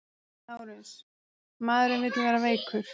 LÁRUS: Maðurinn vill vera veikur.